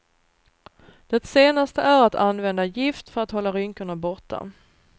Det senaste är att använda gift för att hålla rynkorna borta.